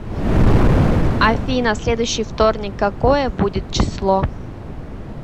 афина следующий вторник какое будет число